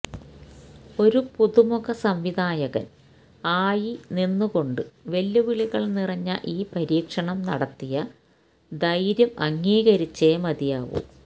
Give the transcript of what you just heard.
ഒരു പുതുമുഖ സംവിധായകൻ ആയി നിന്ന് കൊണ്ട് വെല്ലുവിളികൾ നിറഞ്ഞ ഈ പരീക്ഷണം നടത്തിയ ധൈര്യം അംഗീകരിച്ചേ മതിയാവൂ